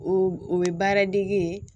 O o ye baara dege ye